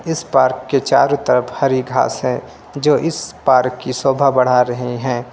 इस पार्क के चारों तरफ हरी घास है जो इस पार्क की सोभा बढ़ा रहे हैं।